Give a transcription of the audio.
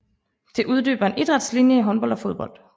Det udbyder en idrætslinie i håndbold og fodbold